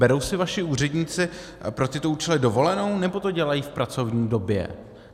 Berou si vaši úředníci pro tyto účely dovolenou, nebo to dělají v pracovní době?